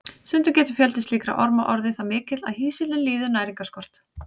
Stundum getur fjöldi slíkra orma orðið það mikill að hýsillinn líður næringarskort.